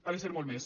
ha de ser molt més